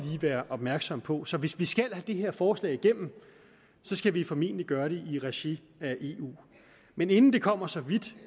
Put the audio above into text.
være opmærksomme på så hvis vi skal have det her forslag igennem skal vi formentlig gøre det i regi af eu men inden det kommer så vidt